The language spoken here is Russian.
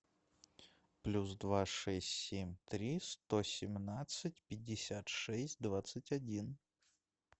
плюс два шесть семь три сто семнадцать пятьдесят шесть двадцать один